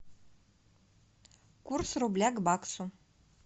курс рубля к баксу